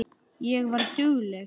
Ég var dugleg.